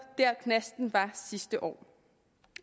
knasten var sidste år